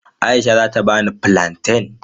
Aisha zata bani fulanten.